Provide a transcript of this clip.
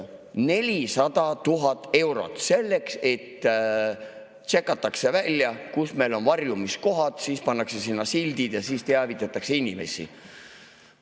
400 000 eurot, selleks et tšekataks välja, kus meil on varjumiskohad, siis pannakse sinna sildid ja siis teavitatakse inimesi.